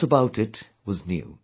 A lot about it was new